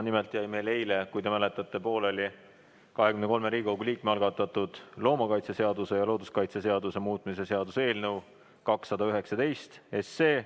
Nimelt jäi meil eile, kui te mäletate, pooleli 23 Riigikogu liikme algatatud loomakaitseseaduse ja looduskaitseseaduse muutmise seaduse eelnõu 219 arutamine.